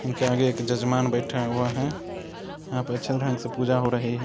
उनके आगे एक जजमान बैठे हुए है यहाँ पे अच्छे ढंग से पूजा हो रही है ।